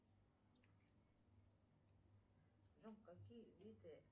джой какие виды